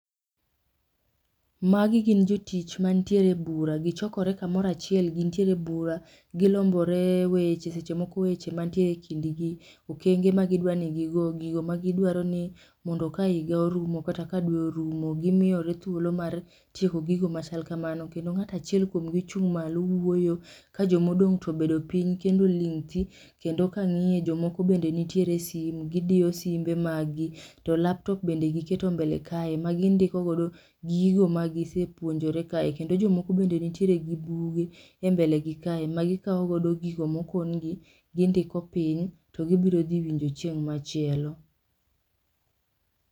Magi gin jotich mantiere bura gichokore kamoro achiel gintiere e bura gilombore weche seche moko weche mantiere e kindgi okenge magi dwaro mondo gigo magi dwaro ni ka higa orumo kata ka dwe orumo, gimiyore thuolo mar tieko gigo machal kamano, kendo ngato achiel kuom gi chung' malo wuoyo ka joma odong to obedo piny kendo oling thi, kendo kang'iyo jomoko bende nitere simo gidiyo simbe mag gi to laptop bende giketo mbele kae magi ndiko godo gigo magi sepuonjore kae kendo jomoko bende nitiere gi buge e mbele gi kae magi kawo godo gigo moken gi gindiko piny to gibiro dhi winjo chieng' machielo